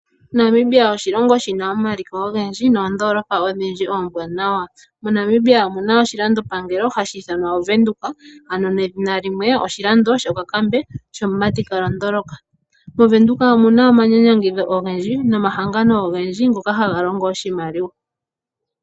Namibia oshilongo shina omaliko ogendji, noondolopa odhindji oombwaanawa. MoNamibia omuna oshilandopangelo hashi ithanwa ovenduka, ano nedhina limwe, oshilando shokakambe, shomumati kaalondoloka. Movenduka omuna omanyanyangidho ogendji nomahangano ogendji, ngoka haga longo oshimaliwa.